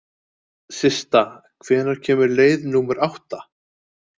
Systa, hvenær kemur leið númer átta?